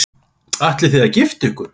Ætlið þið að gifta ykkur?